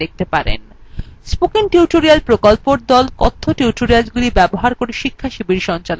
spoken tutorial প্রকল্পর the কথ্য tutorialগুলি ব্যবহার করে শিক্ষাশিবির সঞ্চালন করে